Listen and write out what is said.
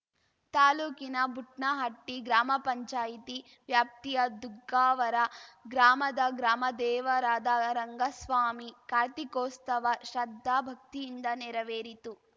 ತಾಲೂಕಿನ ಬುಡ್ನಹಟ್ಟಿಗ್ರಾಮ ಪಂಚಾಯ್ತಿ ವ್ಯಾಪ್ತಿಯ ದುಗ್ಗಾವರ ಗ್ರಾಮದ ಗ್ರಾಮ ದೇವರಾದ ರಂಗಸ್ವಾಮಿ ಕಾರ್ತಿಕೋಸ್ತವ ಶ್ರದ್ಧಾ ಭಕ್ತಿಯಿಂದ ನೆರವೇರಿತು